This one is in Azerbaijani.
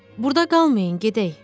Burda qalmayın, gedək.